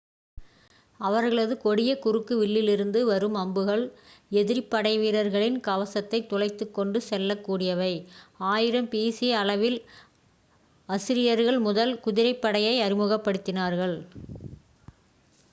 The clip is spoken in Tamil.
அவர்களது கொடிய குறுக்கு வில்லிலிருந்து வரும் அம்புகள் எதிரிப் படைவீரர்களின் கவசத்தைத் துளைத்துக் கொண்டு செல்லக் கூடியவை 1000 பி சி அளவில் அசிரியர்கள் முதல் குதிரைப்படையை அறிமுகப் படுத்தினார்கள்